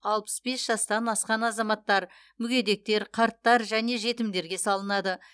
алпыс бес жастан асқан азаматтар мүгедектер қарттар және жетімдерге салынады